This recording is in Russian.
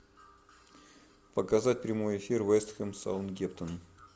показать прямой эфир вест хэм саутгемптон